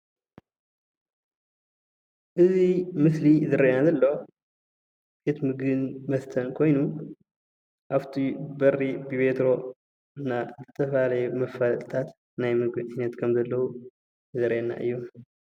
እዚ ምስሊ እዚ ዝረአየና ዘሎ ቤት ምግብን መስተን ኮይኑ ኣብቲ በሪ ብቤትሮ እና ዝተፈላለየ ናይ መፋለጢታት ናይ ምግቢ ጋዜጣታት ከም ዘለዉ ዘርእየና እዩ፡፡